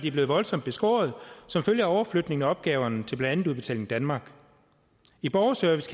er blevet voldsomt beskåret som følge af overflytningen af opgaverne til blandt andet udbetaling danmark i borgerservice